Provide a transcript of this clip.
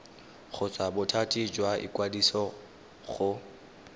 kgotsa bothati jwa ikwadiso go